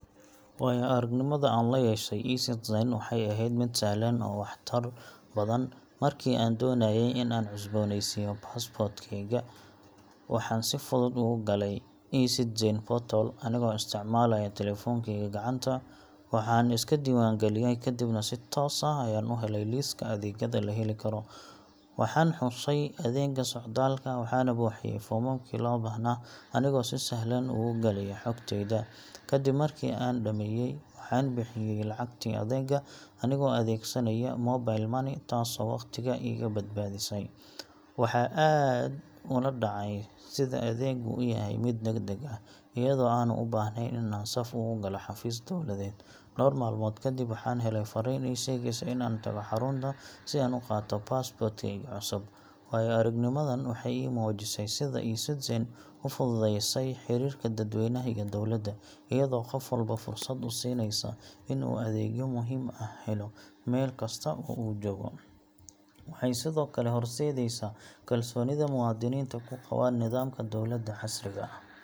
Waayo-aragnimada aan la yeeshay e-Citizen waxay ahayd mid sahlan oo waxtar badan. Markii aan doonayay in aan cusboonaysiiyo passport-kayga, waxaan si fudud ugu galay e-Citizen portal anigoo isticmaalaya taleefankayga gacanta. Waxaan iska diiwaangeliyay, kadibna si toos ah ayaan u helay liiska adeegyada la heli karo. Waxaan xushay adeegga socdaalka, waxaana buuxiyay foomamkii loo baahnaa anigoo si sahlan ugu galaya xogtayda. Kadib markii aan dhameeyay, waxaan bixiyay lacagtii adeega anigoo adeegsanaya mobile money, taasoo waqtiga iga badbaadisay. Waxa aan aad ula dhacay sida adeeggu u yahay mid degdeg ah, iyadoo aanan u baahnayn in aan saf ugu galo xafiis dowladeed. Dhawr maalmood kadib, waxaan helay fariin ii sheegaysa in aan tago xarunta si aan u qaato passport-kayga cusub. Waayo-aragnimadan waxay ii muujisay sida e-Citizen u fududeysay xiriirka dadweynaha iyo dowladda, iyadoo qof walba fursad u siinaysa in uu adeegyo muhiim ah helo meel kasta oo uu joogo. Waxay sidoo kale horseedaysaa kalsoonida muwaadiniinta ku qabaan nidaamka dowladda casriga ah.